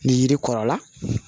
Ni yiri kɔrɔla